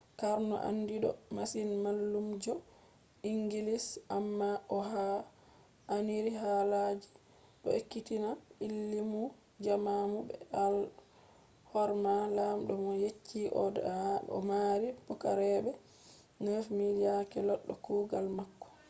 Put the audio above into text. karno andido masin mallumjo inngilis amma o haa'iniri ha halaji do ekkitina illmu jamanu be alhorma lamdo mo yecci o do mari pukaraabe 9000 yake loddo kugal mako